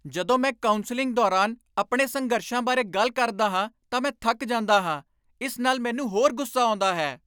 ਜਦੋਂ ਮੈਂ ਕਾਊਂਸਲਿੰਗ ਦੌਰਾਨ ਆਪਣੇ ਸੰਘਰਸ਼ਾਂ ਬਾਰੇ ਗੱਲ ਕਰਦਾ ਹਾਂ ਤਾਂ ਮੈਂ ਥੱਕ ਜਾਂਦਾ ਹਾਂ। ਇਸ ਨਾਲ ਮੈਨੂੰ ਹੋਰ ਗੁੱਸਾ ਆਉਂਦਾ ਹੈ।